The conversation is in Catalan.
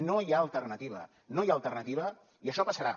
no hi ha alternativa no hi ha alternativa i això passarà